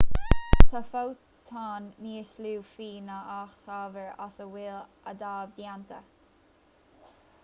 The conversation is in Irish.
tá fótóin níos lú fiú ná an t-ábhar as a bhfuil adaimh déanta